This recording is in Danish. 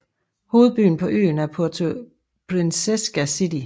Hovedbyen på øen er Puerto Princesa City